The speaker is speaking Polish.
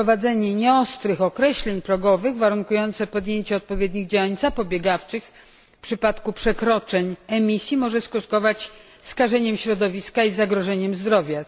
Wprowadzenie nieostrych określeń progowych warunkujących podjęcie odpowiednich działań zapobiegawczych w przypadku przekroczeń emisji może skutkować skażeniem środowiska i zagrożeniem zdrowia.